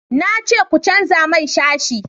na ce ku canja mai sashi